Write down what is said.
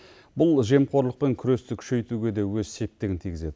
бұл жемқорлықпен күресті күшейтуге де өз септігін тигізеді